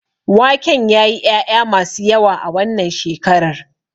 Waken yayi ƴaƴa masu yawa a wannan shekarar.